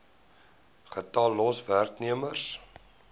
getal los werknemers